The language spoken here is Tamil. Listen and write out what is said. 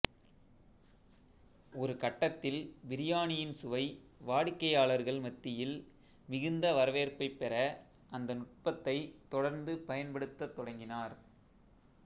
ஒரு கட்டத்தில் பிரியாணியின் சுவை வாடிக்கையாளர்கள் மத்தியில் மிகுந்த வரவேற்பைப் பெற அந்த நுட்பத்தைத் தொடர்ந்து பயன்படுத்தத் தொடங்கினார்